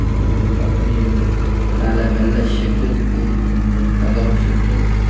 ஒரு கம்பெனி மேல வெள்ள செட் இருக்கு அந்த தகரோ செட்டு .